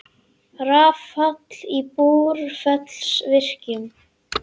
Rafall í Búrfellsvirkjun.